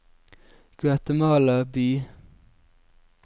Guatemala by